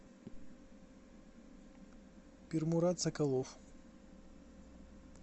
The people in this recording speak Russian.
пермурат соколов